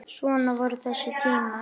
Svona voru þessi tímar.